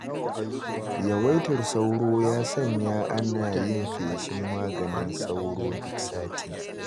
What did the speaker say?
Yawaitar sauro ya sanya ana yin feshin maganin sauro duk sati.